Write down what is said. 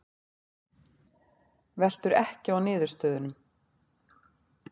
Veltur ekki á niðurstöðunum